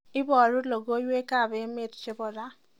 iboru logoiwekab emet chebo ra